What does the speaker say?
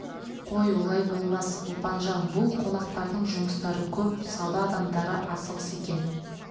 қой олай болмас ұлпанжан бұл қонақтардың жұмыстары көп сауда адамдары асығыс екен